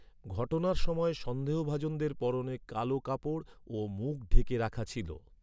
ঘটনার সময় সন্দেহভাজনদের পরনে কালো কাপড় ও মুখ ঢেকে রাখা ছিল।